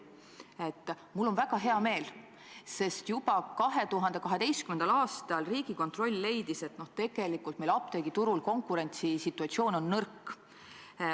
Mul on selle üle väga hea meel, sest juba 2012. aastal leidis Riigikontroll, et tegelikult on meil apteegiturul konkurentsisituatsioon nõrk.